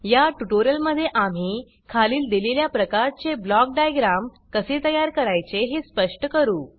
या ट्यूटोरियल मध्ये आम्ही खालील दिलेल्या प्रकारचे ब्लॉक डायग्राम कसे तयार करायचे हे स्पष्ट करू